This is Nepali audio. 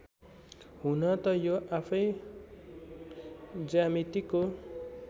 हुन त यो आफैँ ज्यामितिको